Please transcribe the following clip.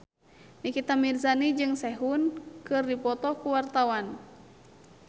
Nikita Mirzani jeung Sehun keur dipoto ku wartawan